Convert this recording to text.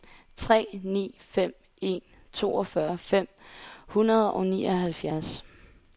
tre ni fem en toogfyrre fem hundrede og nioghalvfjerds